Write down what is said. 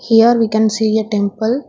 Here we can see a temple.